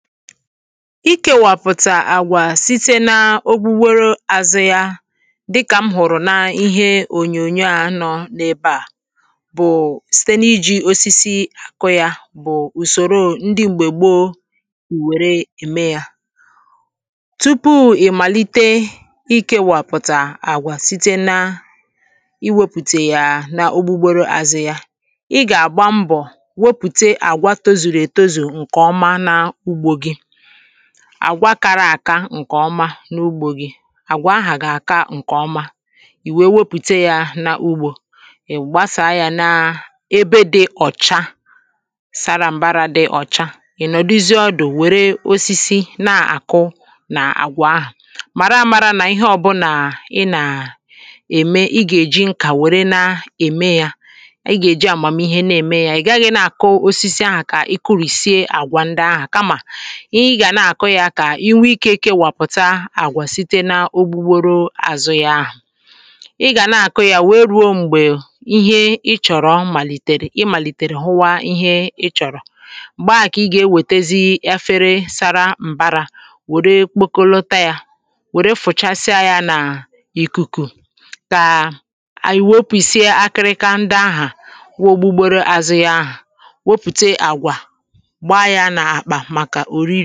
ikėwàpùtà àgwà site na ogbugboro azụ ya dịkà m hụ̀rụ̀ na ihe ònyònyo à nọ n’ebe à bụ̀ site n’iji̇ osisi akọ̇ yȧ bụ̀ ùsòro ndị m̀gbè gbo ùwère ème yȧ tupu̇ ì màlite ikėwàpùtà àgwà site na iwėpùtà yà n’ogbugboro azụ ya ị gà àgba mbọ̀ wepùtà àgwà tozùrù ètozù àgwakara àka ǹkè ọma n’ugbȯ gi àgwà ahà gị̇ àka ǹkè ọma ì wèe wepụ̀ta ya n’ugbȯ ị̀ gbasàa ya na ebe dị ọ̀cha sara mbarȧ dị ọ̀cha ị̀ nọ̀dụzị ọdụ̀ wère osisi na-àkụ nà àgwà ahụ̀ màra mȧrȧ nà ihe ọ̀bụ̀là ị nà ème ị gà-èji nkà wère na-ème ya ị gà-èji àmùmìhe na-ème ya ị̀ gaghị̇ na-àkụ osisi ahụ̀ kà ị kụ̇rìsie àgwà ndị ahụ̀ ihe i gà na-àkụ ya kà i nwee ikė ike wàpụ̀ta àgwà site na ogbugboro àzụ ya ahụ̀ i gà na-àkụ ya wee rùo m̀gbè ihe ị chọ̀rọ̀ màlìtèrè ị màlìtèrè hụwa ihe ị chọ̀rọ̀ gbaa kà ị gà-ewètezi afere sara m̀bara wère kpokȯlȯta ya wère fụ̀chasịa ya n’ìkùkù kà ànyị̀ wopùìsịa akịrịka ndị ahụ̀ wọ gbugboro àzụ ya ahụ̀ wopùte àgwà gbaa ya n’àkpà foto anụ ọ́sị́á nà-àkpọ́ ányá